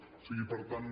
o sigui per tant